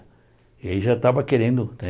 E aí já estava querendo, né?